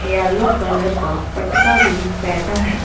Yellow colour का पटका भी पेहना हैं।